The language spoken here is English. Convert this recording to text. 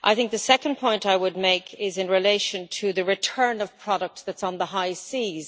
The second point I would make is in relation to the return of products on the high seas.